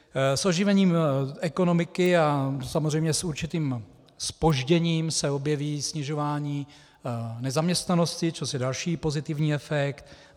S oživením ekonomiky a samozřejmě s určitým zpožděním se objeví snižování nezaměstnanosti, což je další pozitivní efekt.